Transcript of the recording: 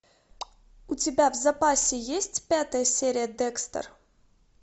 у тебя в запасе есть пятая серия декстер